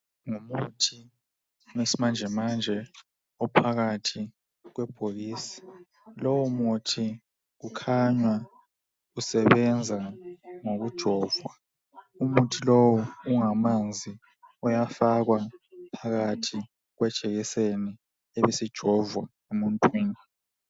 Ngumuthi wesimanjemanje phakathi kwebhokisi. Lowo muthi ukhanya usebenza ngokujovwa. Umuthi lowu ungamanzi uyafakwa phakathi kwejekiseni ibisijovwa emuntwini.